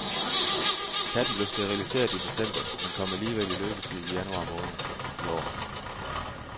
Katten blev steriliseret i december, men kom alligevel i løbetid i januar i år.